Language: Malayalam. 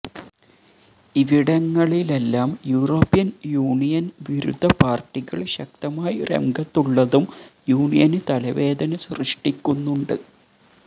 ഇവിടങ്ങളിലെല്ലാം യൂറോപ്യൻ യൂണിയൻ വിരുദ്ധ പാർട്ടികൾ ശക്തമായി രംഗത്തുള്ളതും യൂണിയന് തലവേദന സൃഷ്ടിക്കുന്നുണ്ട്